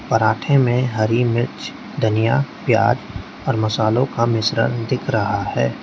पराठे में हरी मिर्च धनिया प्याज मसालो का मिश्रण दिख रहा है।